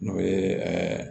N'o ye